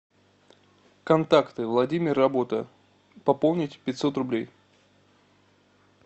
контакты владимир работа пополнить пятьсот рублей